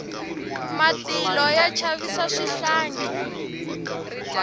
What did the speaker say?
matilo ya chavisa swihlangi